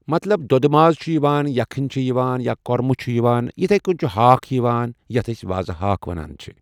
مطلب دۄدٕ ماز چھُ یِوان یَکھٕنۍ چھُ یِوان یا کوٚرمہٕ چھُ یِوان۔ یِتھَے کٔنَۍ چھُ ہاکھ یِوان یتھ أسۍ وازٕ ہاکھ وَنان چھِ ۔